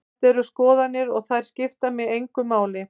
Þetta eru skoðanir og þær skipta mig engu máli.